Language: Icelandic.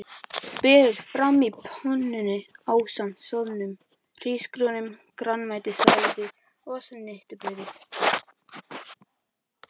Berið fram á pönnunni ásamt soðnum hrísgrjónum, grænmetissalati og snittubrauði.